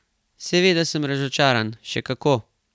Seveda sem razočaran, še kako!